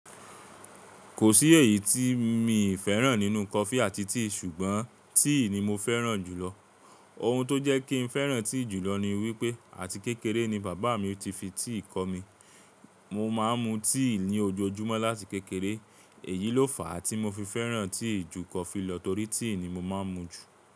Kò sí èyí tí mi ì fẹ́ràn nínú coffee àti tea ṣùgbọ́n tea ni mo fẹ́ràn jùlọ. Ohun tó jẹ́ kí ń fẹ́ràn tea jùlọ ni wípé àti kékeré ni bàbá mi ti fi tea kọ́ mi. Mo máa ń mu tea ní ojoojúmọ́ láti kékeré. Èyí ló fà á tí mo fi fẹ́ràn tea ju coffee lọ torí tea ni mo máa ń mu jù.